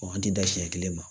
Ɔ an ti dan siɲɛ kelen ma